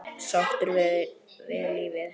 Sáttur við lífið.